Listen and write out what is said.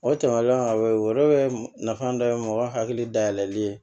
O tɛmɛnen kɔfɛ o yɔrɔ nafa dɔ ye mɔgɔ hakili dayɛlɛli ye